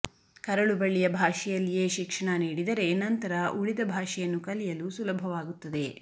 ಕರಳುಬಳ್ಳಿಯ ಭಾಷೆಯಲ್ಲಿಯೇ ಶಿಕ್ಷಣ ನೀಡಿದರೆ ನಂತರ ಉಳಿದ ಭಾಷೆಯನ್ನು ಕಲಿಯಲು ಸುಲಭವಾಗುತ್ತದೆ